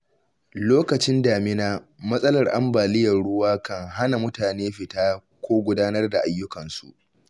Lokacin damina, matsalar ambaliyar ruwa kan hana mutane fita ko gudanar da ayyukansu.